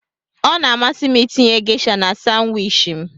Ọ na-amasị m itinye Gesha na Sanwichi m.